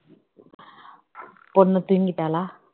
பொண்ணு தூங்கிட்டாளா